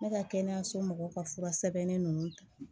Ne ka kɛnɛyaso mɔgɔw ka fura sɛbɛnnen ninnu ta